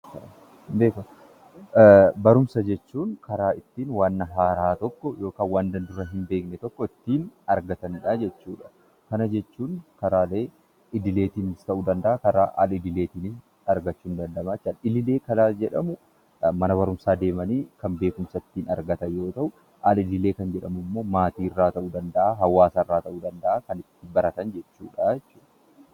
Barumsa jechuun karaa ittiin wanta haaraa tokko yookaan waan dura hin beekne tokko ittiin argatanidha jechuudha. Kana jechuun jaraa idileetiin ta'uu danda’a, karaa al-idiiletiinis argachuun ni danda’ama jechuudha. Karaa idilee kan jedhamu mana barumsaa deemanii kan beekumsa argatan yoo ta’u, al-idilee jechuun immoo maatii urraa ta’u danda’a, hawwaasa irraa ta’u danda’a karaa ittiin beekumsa argatan jechuudha.